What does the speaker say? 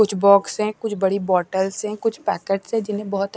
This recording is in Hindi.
कुछ बॉक्स है कुछ बड़ी बॉटल्स है कुछ पैकेट्स है जिन्हें बहोत --